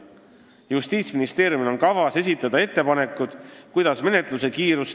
Justiitsministeeriumil on kavas esitada ettepanekud, kuidas tõsta menetluse kiirust.